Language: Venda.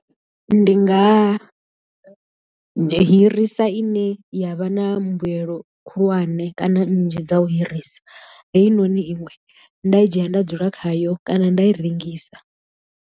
Ndi nga hirisa i ne ya vha na mbuyelo khulwane kana nnzhi dza u hirisa heinoni iṅwe nda i dzhia nda dzula khayo kana nda i rengisa.